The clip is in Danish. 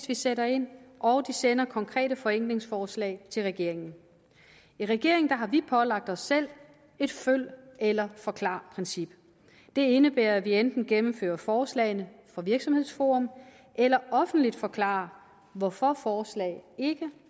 vi sætter ind og de sender konkrete forenklingsforslag til regeringen i regeringen har vi pålagt os selv et følg eller forklar princip det indebærer at vi enten gennemfører forslagene fra virksomhedsforum eller offentligt forklarer hvorfor forslag ikke